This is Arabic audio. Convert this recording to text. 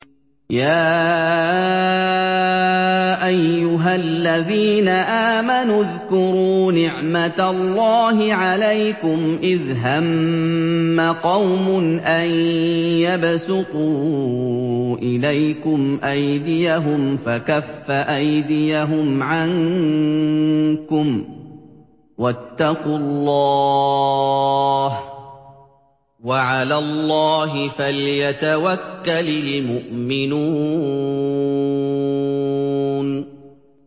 يَا أَيُّهَا الَّذِينَ آمَنُوا اذْكُرُوا نِعْمَتَ اللَّهِ عَلَيْكُمْ إِذْ هَمَّ قَوْمٌ أَن يَبْسُطُوا إِلَيْكُمْ أَيْدِيَهُمْ فَكَفَّ أَيْدِيَهُمْ عَنكُمْ ۖ وَاتَّقُوا اللَّهَ ۚ وَعَلَى اللَّهِ فَلْيَتَوَكَّلِ الْمُؤْمِنُونَ